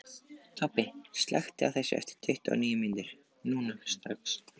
Tobbi, slökktu á þessu eftir tuttugu og níu mínútur.